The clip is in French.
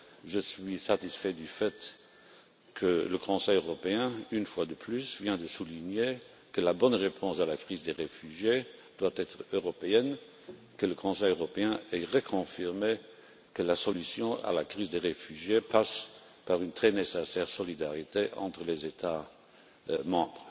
Je suis satisfait du fait que le Conseil européen, une fois de plus, ait souligné que la bonne réponse à la crise des réfugiés devait être européenne, et qu'il ait reconfirmé que la solution à la crise des réfugiés passait par une très nécessaire solidarité entre les États membres.